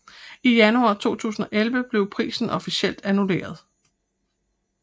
I januar 2011 blev prisen officielt annulleret